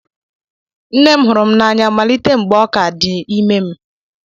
Nne m hụrụ m n'anya malite mgbe ọ ka dị ime m.